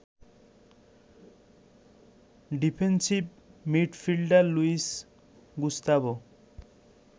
defensive midfielder Luis Gustavo